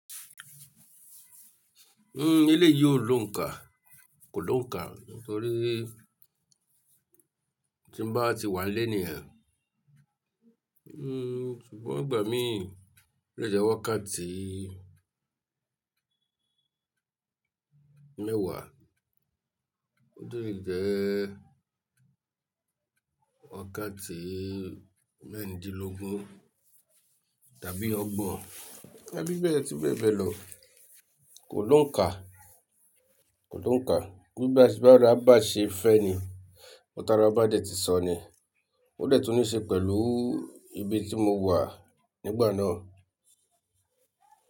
Uhn, eleyií ò lóǹkà, kò lóǹkà nítorí tí ń bá ti wà nlé niyen, mm, ṣùgbọ́n ìgbà mí o lè jẹ́ wakati mẹ́wàá, ó dè jẹ́ Wakati mẹ́ẹ̀rìndínlógún tàbí ọgbọ̀n. Ẹ bí bẹ̀ẹ́ ati bẹ̀ẹ́ bẹ̀ lọ. Kò lóǹkà, kò lóǹkà. Nígbà tí bara bà ṣe fẹ́ ni, nkan tàra bà dé tí sọ ni. Ó dẹ̀ tun níí ṣe pẹ̀lú ibi tí mo wà nígbà náà.